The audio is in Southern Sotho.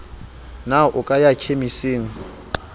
na o ka ya khemising